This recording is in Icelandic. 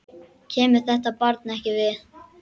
Kemur þetta barn ekkert við.